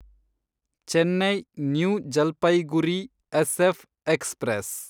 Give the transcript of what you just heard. Chennai new Jalpaiguri SF express